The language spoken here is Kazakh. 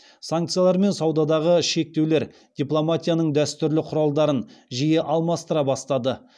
санкциялар мен саудадағы шектеулер дипломатияның дәстүрлі құралдарын жиі алмастыра бастады